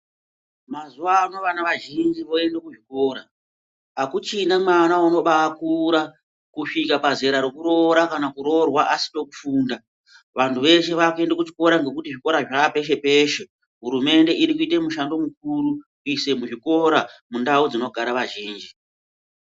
Mazuva ano vana vazhinji voenda kuzvikora akuchina mwana unobakura kusvika pazera rekuroora kana kuroorwa asina kufunda vantu veshe vakuenda kuzvikora ngekuti zvikora zvapeshe peshe hurumende iri kushanda maningi kusis zvikora mundau dzinogara azhinji.